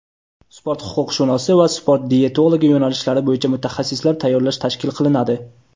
sport huquqshunosi va sport diyetologi yo‘nalishlari bo‘yicha mutaxassislar tayyorlash tashkil qilinadi.